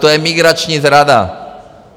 To je migrační zrada.